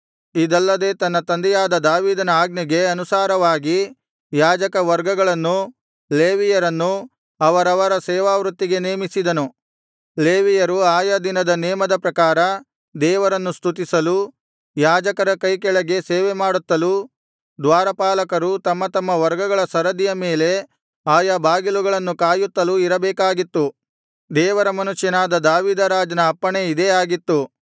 ಇದಲ್ಲದೆ ತನ್ನ ತಂದೆಯಾದ ದಾವೀದನ ಆಜ್ಞೆಗೆ ಅನುಸಾರವಾಗಿ ಯಾಜಕ ವರ್ಗಗಳನ್ನೂ ಲೇವಿಯರನ್ನೂ ಅವರವರ ಸೇವಾವೃತ್ತಿಗೆ ನೇಮಿಸಿದನು ಲೇವಿಯರು ಆಯಾ ದಿನದ ನೇಮದ ಪ್ರಕಾರ ದೇವರನ್ನು ಸ್ತುತಿಸಲು ಯಾಜಕರ ಕೈಕೆಳಗೆ ಸೇವೆಮಾಡುತ್ತಲೂ ದ್ವಾರಪಾಲಕರು ತಮ್ಮ ತಮ್ಮ ವರ್ಗಗಳ ಸರದಿಯ ಮೇಲೆ ಆಯಾ ಬಾಗಿಲುಗಳನ್ನು ಕಾಯುತ್ತಲೂ ಇರಬೇಕಾಗಿತ್ತು ದೇವರ ಮನುಷ್ಯನಾದ ದಾವೀದ ರಾಜನ ಅಪ್ಪಣೆ ಇದೇ ಆಗಿತ್ತು